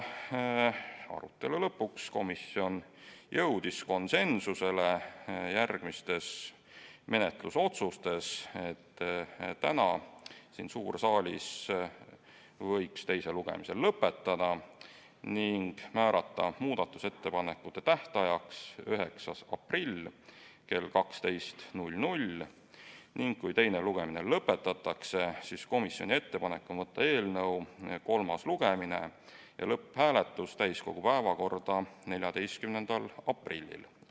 Arutelu lõpuks jõudis komisjon konsensusele järgmistes menetlusotsustes: täna siin suures saalis võiks teise lugemise lõpetada ning määrata muudatusettepanekute tähtajaks 9. aprilli kell 12 ning kui teine lugemine lõpetatakse, siis komisjoni ettepanek on võtta eelnõu kolmas lugemine ja lõpphääletus täiskogu päevakorda 14. aprilliks.